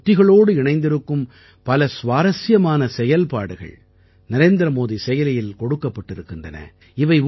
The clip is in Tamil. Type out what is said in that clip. இந்த உத்திகளோடு இணைந்திருக்கும் பல சுவாரசியமான செயல்பாடுகள் நரேந்திரமோடி செயலியில் கொடுக்கப்பட்டிருக்கின்றன